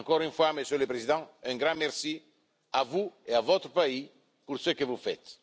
Encore une fois, Monsieur le Président, un grand merci à vous et à votre pays pour ce que vous faites.